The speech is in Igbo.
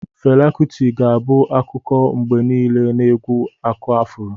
Fela Kuti ga-abụ akụkọ mgbe niile na egwu aku afuro.